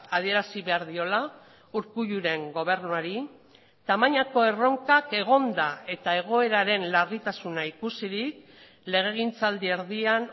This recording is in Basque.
adierazi behar diola urkulluren gobernuari tamainako erronkak egonda eta egoeraren larritasuna ikusirik legegintzaldi erdian